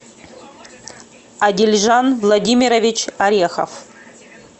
адельжан владимирович орехов